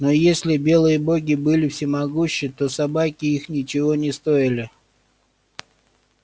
но если белые боги были всемогущи то собаки их ничего не стоили